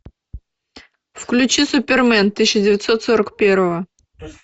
включи супермен тысяча девятьсот сорок первого